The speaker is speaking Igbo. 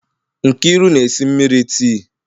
Nkeiru na-esi mmiri tii.